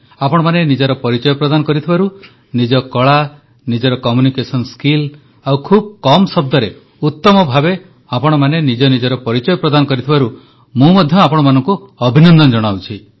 ଆପଣମାନେ ନିଜର ପରିଚୟ ପ୍ରଦାନ କରିଥିବାରୁ ନିଜ କଳା ନିଜର ଉପସ୍ଥାପନା ଶୈଳୀ ଆଉ ଖୁବ କମ ଶବ୍ଦରେ ଉତମ ଭାବେ ଆପଣମାନେ ନିଜର ପରିଚୟ ପ୍ରଦାନ କରିଥିବାରୁ ମୁଁ ମଧ୍ୟ ଆପଣମାନଙ୍କୁ ଅଭିନନ୍ଦନ ଜଣାଉଛି